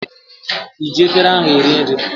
ị ji efere ahụ eri nri?